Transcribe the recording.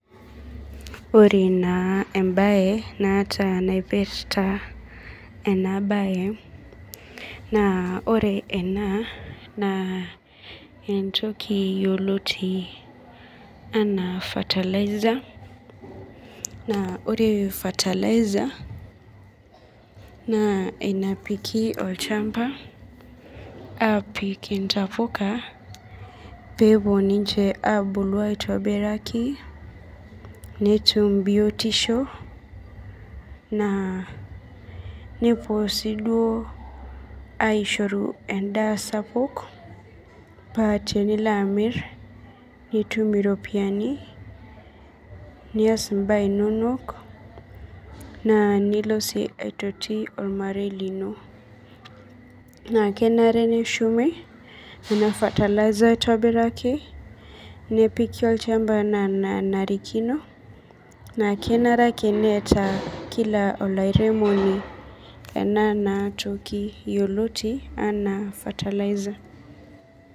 Ore naa embaye naata naipirta ena baya naa ore ena naa entoki yioloti enaa fertilizer naa ore fertilizer naa enapiki olchamba aapik intabuka peetum biotisho aitobiraki nepuo aishio endaa sapuk paa tenilo amir nitu iropiyiani nitum iropiyiani nilo sii aitoki ormarei lino naa kenare neshumi ena fertilizer aitubiraki nepiki olchamba enaa enanarikino nepiki olchamba ena toki enaa fataliza